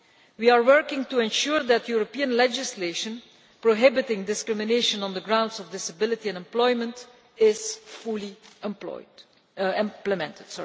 We are working to ensure that European legislation prohibiting discrimination on the grounds of disability in employment is fully implemented.